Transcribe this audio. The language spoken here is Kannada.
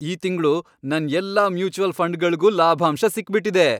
ಈ ತಿಂಗ್ಳು ನನ್ ಎಲ್ಲಾ ಮ್ಯೂಚುವಲ್ ಫಂಡ್ಗಳ್ಗೂ ಲಾಭಾಂಶ ಸಿಕ್ಬಿಟಿದೆ.